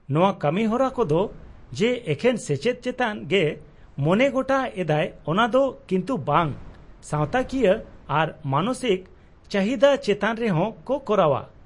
-ᱱᱚᱶᱟ ᱠᱟᱹᱢᱤᱦᱚᱨᱟ ᱠᱚᱫᱚ ᱡᱮ ᱮᱠᱷᱮᱱ ᱥᱮᱪᱮᱫ ᱪᱮᱛᱟᱱ ᱜᱮ ᱢᱚᱱᱮᱜᱚᱴᱟ ᱮᱫᱟᱭ ᱚᱱᱟ ᱫᱚ ᱠᱤᱱᱛᱩ ᱵᱟᱝ, ᱥᱟᱶᱛᱟ ᱠᱤᱭᱟᱹ ᱟᱨ ᱢᱟᱱᱚᱥᱤᱠ ᱪᱟᱹᱦᱤᱫᱟ ᱪᱮᱛᱟᱱ ᱨᱮᱦᱚᱸ ᱠᱚ ᱠᱚᱨᱟᱣᱼᱟ ᱾